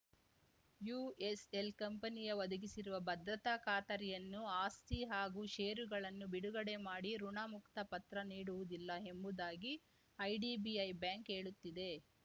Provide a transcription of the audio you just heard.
USL ಕಂಪನಿಯು ಒದಗಿಸಿರುವ ಭದ್ರತಾ ಖಾತರಿಯನ್ನು ಆಸ್ತಿ ಹಾಗೂ ಷೇರುಗಳನ್ನು ಬಿಡುಗಡೆ ಮಾಡಿ ಋುಣಮುಕ್ತ ಪತ್ರ ನೀಡುವುದಿಲ್ಲ ಎಂಬುದಾಗಿ ಐಡಿಬಿಐ ಬ್ಯಾಂಕ್‌ ಹೇಳುತ್ತಿದೆ